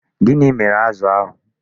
Gịnị mere azụ ahụ?